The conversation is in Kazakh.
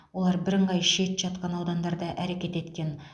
олар бірыңғай шет жатқан аудандарда әрекет еткен